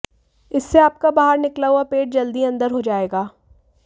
इससे आपका बाहर निकला हुआ पेट जल्द ही अंदर हो जाएगा